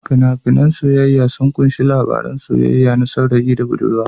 Fina-finan na soyayya sun kunshi labarin soyayyar saurayi da budurwa.